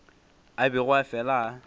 a bego a fela a